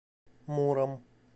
муром